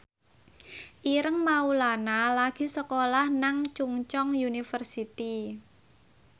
Ireng Maulana lagi sekolah nang Chungceong University